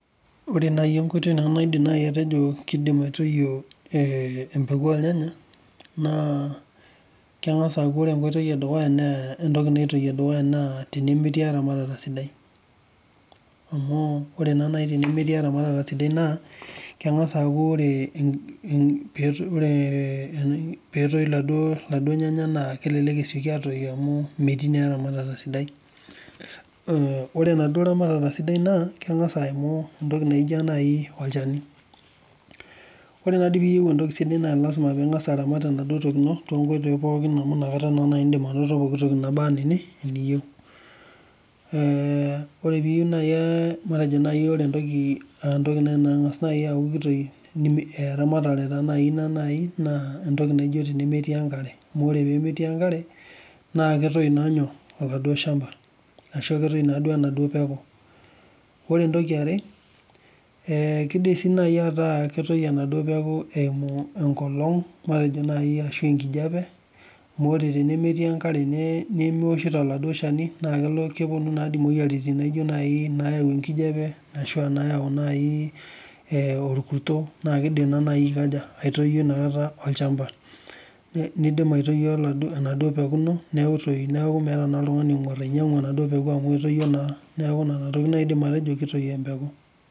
Ore naaji enkoitoi naidim atejo kidim aitoyio ee mpeku ornyanya naa keng'as aku ore enkoitoi edukuya naa tenemetii eramatata sidai amu ore taa naaji tenemkti eramatata sidai naa keng'as aku ore petoi eladuo Nganya amu metii naa eramata sidai ore enaduo eramatata sidai naa keng'as aimu entoki naijio olchani ore naadoi piyieu entoki sidai naa lasima ping'as aramat enaduo toki tonkoitoi pokin amu enakata etum anoto pokitoki naba ena teniyieu ore naaji entoki nang'as aki kitoi eramatare taa naaji entoki najii naijio nemetii enkare amu ore pee metii enkare naa ketoi naa olchamba arashu ketoi enaduo peku ore entoki ee yare kidim sii ataa ketoi enaduo peeku eimu enkolog matejo naaji arashu ankijiape amu ore naaji tenemetii enkare nimipshito oladuo Shani naa kepuonu naadoi emoyiaritin naijio nayawu enkijiape arashu nayau naaji orkurto naa kidim naa naaji aitoyio olchamba nidim aitoyioenaduo peeku ino netii neeku meeta naa oltung'ani onyiang'u enaduo peeku amu etoyio naa neeku Nena tokitin naaji aidim atejo kitoi embekuu